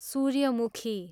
सूर्यमुखी